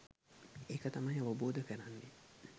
ඒක තමයි අවබෝධ කරන්නෙ.